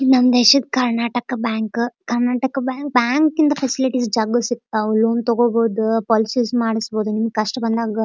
ಇಲ್ಲೊಂದ್ ದೇಶದ Karnataka bank Karnataka bank ಇಂದ ಫೆಸಿಲಿಟಿ ಜಗ್ಗು ಸಸಿಕ್ತವು. ಲೋನ್ ತಗೋಬಹುದು ಪೋಲಿಸಿಸ್ ಮಾಡಿಸಬಹುದು. ನಿಮ್ಗ್ ಕಷ್ಟ ಬಂದಾಗ--